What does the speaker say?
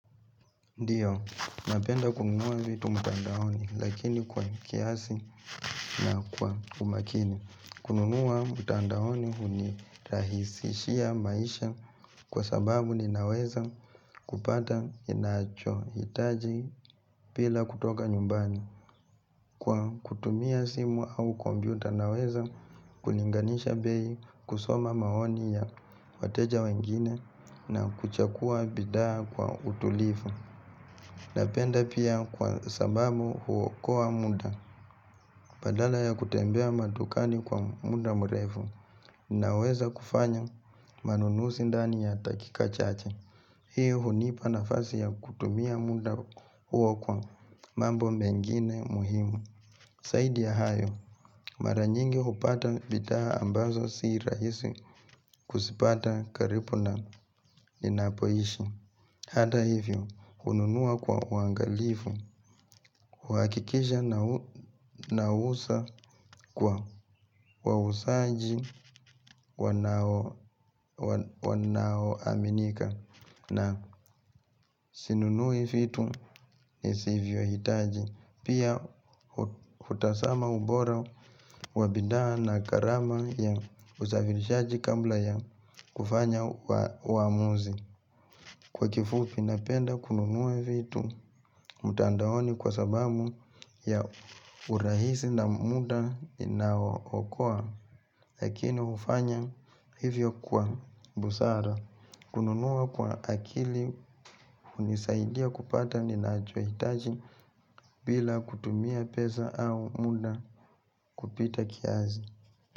Ndio, napenda kununua vitu mtandaoni lakini kwa kiasi na kwa umakini. Kununua mtandaoni huni rahisishia maisha kwa sababu ninaweza kupata inacho hitaji pila kutoka nyumbani. Kwa kutumia simu au kombiuta naweza kulinganisha bei kusoma maoni ya wateja wengine na kuchakua bidaa kwa utulifu. Napenda pia kwa sababu huokoa muda badala ya kutembea madukani kwa muda mrefu na weza kufanya manunusi ndani ya dakika chache. Hii hunipa nafasi ya kutumia muda huo kwa mambo mengine muhimu. Zaidi ya hayo, maranyingi hupata bidaa ambazo siiraisi kusipata karipu na inapoishi. Hata hivyo, hununua kwa uangalifu, huakikisha nau na usa kwa kwa usaji kwana wanao aminika na sinunui fitu ni sivyo hitaji, pia hutasama ubora wabidaa na karama ya usafirishaji kambla ya kufanya wa uamuzi. Kwa kifu pinapenda kununua vitu mtandaoni kwa sababu ya urahisi na muda inao okoa Lakini hufanya hivyo kwa busara kununua kwa akili hunisaidia kupata ninachohitaji bila kutumia peza au muda kupita kiazi.